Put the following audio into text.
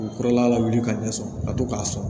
U kɔrɔla lawuli ka ɲɛ sɔrɔ ka to k'a sɔn